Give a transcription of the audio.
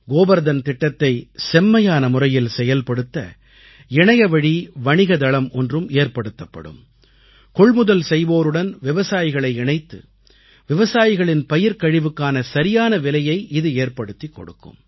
கோபர்தன் திட்டத்தை செம்மையான முறையில் செயல்படுத்த இணையவழி வணிக தளம் ஒன்றும் ஏற்படுத்தப்படும் கொள்முதல் செய்வோருடன் விவசாயிகளை இணைத்து விவசாயிகளின் பயிர்க்கழிவுக்கான சரியான விலையை இது ஏற்படுத்திக் கொடுக்கும்